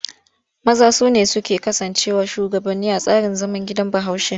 Maza su ne suke kasancewa shugabanni a tsarin zaman gidan Bahaushe.